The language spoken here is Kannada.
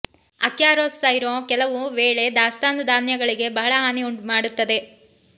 ಅಕ್ಯಾರಸ್ ಸೈರೊ ಕೆಲವು ವೇಳೆ ದಾಸ್ತಾನು ಧಾನ್ಯಗಳಿಗೆ ಬಹಳ ಹಾನಿ ಮಾಡುತ್ತದೆ